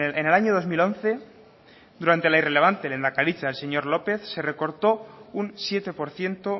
en el año dos mil once durante la irrelevante lehendakaritza del señor lópez se recortó un siete por ciento